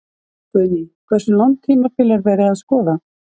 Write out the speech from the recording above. Guðný: Hversu langt tímabil er verið að skoða?